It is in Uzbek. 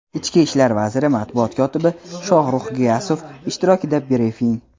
Ichki ishlar vaziri matbuot kotibi Shoxrux Giyasov ishtirokida brifing.